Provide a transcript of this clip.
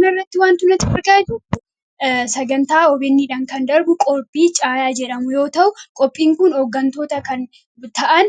Kanarratti kan argaa jirru sagantaa 'OBN" dhaan kan darbu qophii caayaa jedhamu yoo ta'u, qophiin kun hooggantoota kan ta'an